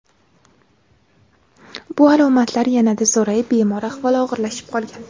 Bu alomatlar yanada zo‘rayib, bemor ahvoli og‘irlashib qolgan.